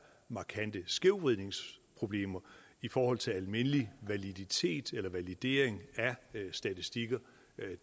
markante skævvridningsproblemer i forhold til almindelig validitet eller validering af statistikker